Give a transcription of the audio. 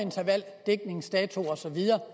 så videre